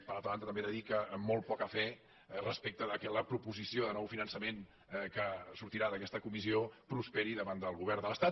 per altra banda també he de dir que amb molt poca fe respecte que la proposició de nou finançament que sortirà d’aquesta comissió prosperi davant del govern de l’estat